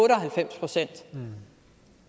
halvfems procent